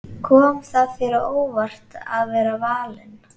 Kom það þér á óvart að vera valinn?